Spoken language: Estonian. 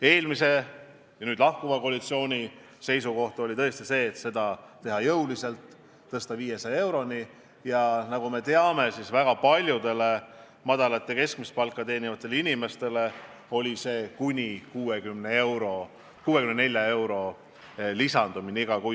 Eelmise koalitsiooni seisukoht oli tõesti see, et seda määra tuleks tõsta jõuliselt, 500-euroni, ja nagu me teame, väga paljudele madalat või keskmist palka teenivatele inimestele tähendas see umbes 60 euro lisandumist iga kuu.